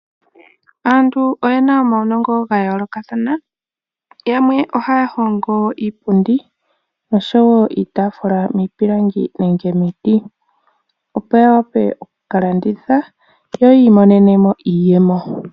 Aantu oye na omaunongo ga yoolokathana. Yamwe ohaya hongo iipundi noshowo iitaafula miipilangi nenge miiti, opo ya wape oku ka landitha ya wape oku imonena mo iiyemo.